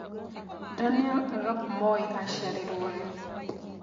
Daniel Arap Moi acĩarĩrwo rĩ